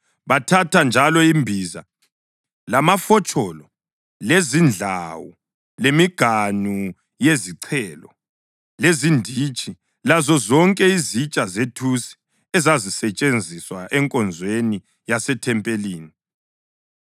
Bathatha njalo imbiza, lamafotsholo, lezindlawu lemiganu yezichelo, lezinditshi lazozonke izitsha zethusi ezazisetshenziswa enkonzweni yasethempelini.